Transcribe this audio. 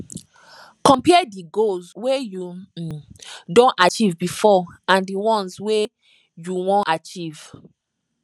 compare di goals wey you um don achieve before and di once wey you wan achieve